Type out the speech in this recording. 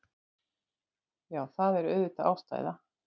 Já, það er auðvitað ástæða.